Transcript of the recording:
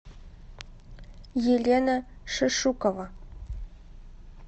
елена шишукова